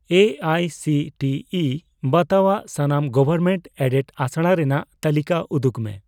A I C T E ᱵᱟᱛᱟᱣᱟᱱ ᱥᱟᱱᱟᱢ government aided ᱟᱥᱲᱟ ᱨᱮᱱᱟᱜ ᱛᱟᱞᱤᱠᱟ ᱩᱫᱩᱜᱽ ᱢᱮ ᱾